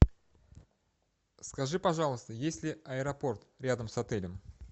скажи пожалуйста есть ли аэропорт рядом с отелем